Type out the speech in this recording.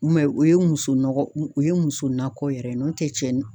o ye muso nɔgɔ, u o ye muso nakɔ yɛrɛ n'o tɛ cɛ